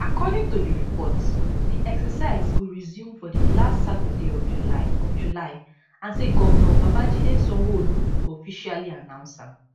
according to di reports di exercise go resume for di last saturday of july of july and say govnor babajide sanwoolu go officially announce am